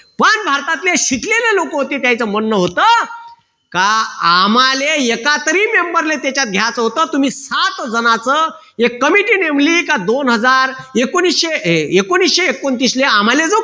महान भारतातले शिकलेले लोक होते त्यांचं म्हणणं होत का आम्हाले एका तरी member ले त्याच्यात घ्यायचं होत तुम्ही सात जणांचं एक committee नेमली की दोन हजार एकोणविशे एकोणतीसले आम्हाले जो